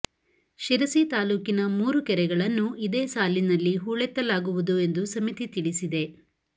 ಶಿರಸಿ ತಾಲೂಕಿನ ಮೂರು ಕೆರೆಗಳನ್ನು ಇದೇ ಸಾಲಿನಲ್ಲಿ ಹೂಳೆತ್ತಲಾಗುವುದು ಎಂದು ಸಮಿತಿ ತಿಳಿಸಿದೆ